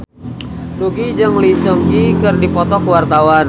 Nugie jeung Lee Seung Gi keur dipoto ku wartawan